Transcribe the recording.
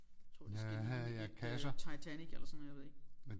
Tror det skal ligne et øh Titanic eller sådan noget jeg ved ikke